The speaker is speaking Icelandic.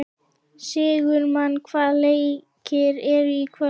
Sigurmann, hvaða leikir eru í kvöld?